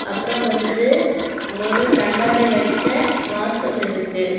அப்புறம் வந்து ஒரு கண்ணாடி வச்ச வாசல் இருக்கு.